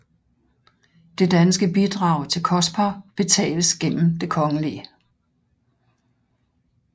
Det danske bidrag til COSPAR betales gennem Kgl